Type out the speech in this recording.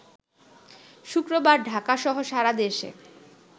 শুক্রবার ঢাকাসহ সারাদেশে